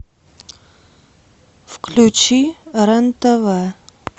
включи рен тв